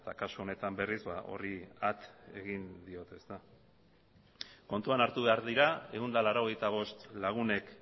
kasu honetan berriz horri at egin diote kontuan hartu behar dira ehun eta laurogeita bost lagunek